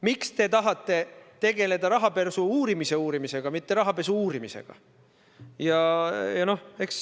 Miks te tahate tegeleda rahapesu uurimise uurimisega, mitte rahapesu uurimisega?